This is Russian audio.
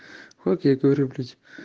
вот я говорю блять